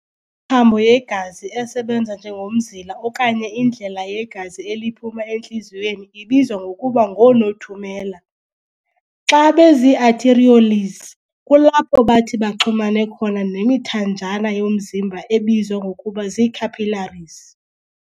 thambo yegazi esebenza njengomzila okanye indlela yegazi eliphuma entliziyweni ibizwa ngokuba ngoo-nothumela. Xa bezii-arterioles kulapho bathi baxhumane khona nemithanjana yomzimba ebizwa ngokuba zii-cappilaries.